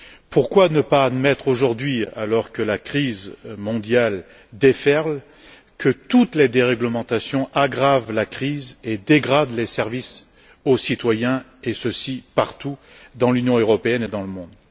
Pourquoi ne pas admettre aujourd'hui, alors que la crise mondiale déferle, que toutes les déréglementations aggravent la crise et dégradent les services aux citoyens, et ceci partout, dans l'Union européenne et dans le monde?